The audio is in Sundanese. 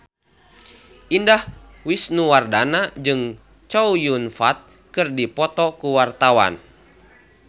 Indah Wisnuwardana jeung Chow Yun Fat keur dipoto ku wartawan